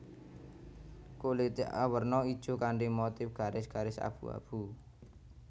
Kulité awerna ijo kanthi motif garis garis abu abu